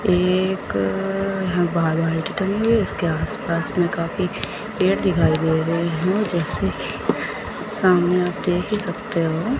एक मेडिकल है इसके आसपास में काफी पेड़ दिखाई दे रहे हैं जैसे कि सामने आप देख ही सकते हो।